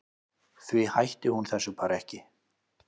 Því hætti hún þessu bara ekki.